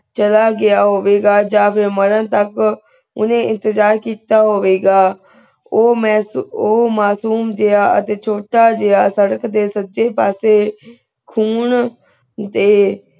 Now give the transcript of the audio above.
ਚਲਾ ਗਯਾ ਹੋਵੇ ਗਾ ਜਾ ਫਿਰ ਮਰਨ ਤਕ ਓਨੇ ਇਲਤਿਜਾ ਕੀਤਾ ਹੋਵੇ ਗਾ ਊ ਮਾਯਸ ਊ ਮਾਸੂਮ ਜਿਯਾ ਅਜੇ ਛੋਟਾ ਜਿਯਾ ਸਰ੍ਰਕ ਦੇ ਸੱਜੀ ਪਾਸੇ ਖੂਨ ਦੇ